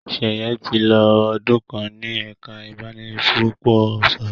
Sheye tí lọ ọdún kán ní ẹka ibanipúpò sọrọ.